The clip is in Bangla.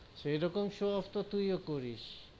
সেরকম show-off তো তুই ও করিস,